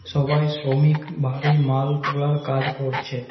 সবাই শ্রমিক ভারী মাল তুলার কাজ করছে।